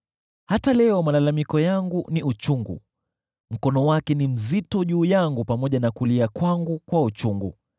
“Hata leo malalamiko yangu ni chungu; mkono wake ni mzito juu yangu hata nikiugua.